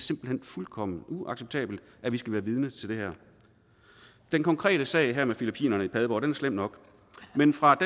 simpelt hen fuldkommen uacceptabelt at vi skal være vidne til det her den konkrete sag med filippinerne i padborg er slem nok men fra